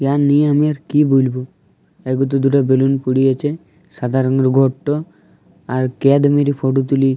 ইয়া নিয়ে আমি আর কি বলবো। এর ভিতর দুটো বেলুন পড়ে আছে সাদা রং ঘরটো। আর ক্যাড মেরে ফটো তুলে --